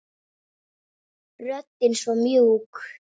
Röddin svo mjúk.